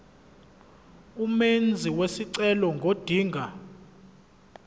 umenzi wesicelo ngodinga